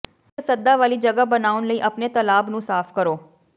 ਇੱਕ ਸੱਦਾ ਵਾਲੀ ਜਗ੍ਹਾ ਬਣਾਉਣ ਲਈ ਆਪਣੇ ਤਲਾਬ ਨੂੰ ਸਾਫ਼ ਕਰੋ